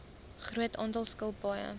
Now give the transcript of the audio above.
groot aantal skilpaaie